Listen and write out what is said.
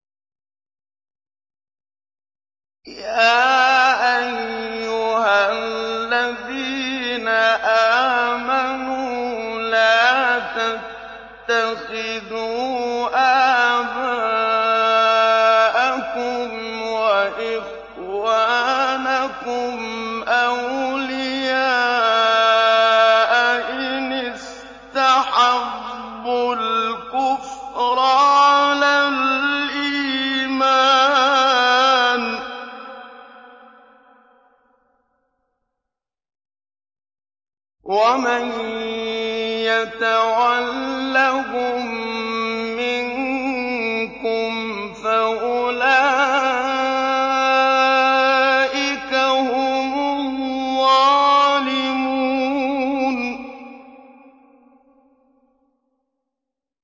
يَا أَيُّهَا الَّذِينَ آمَنُوا لَا تَتَّخِذُوا آبَاءَكُمْ وَإِخْوَانَكُمْ أَوْلِيَاءَ إِنِ اسْتَحَبُّوا الْكُفْرَ عَلَى الْإِيمَانِ ۚ وَمَن يَتَوَلَّهُم مِّنكُمْ فَأُولَٰئِكَ هُمُ الظَّالِمُونَ